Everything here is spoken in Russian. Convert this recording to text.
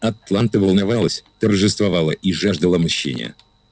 атланта волновалась торжествовала и жаждала мщения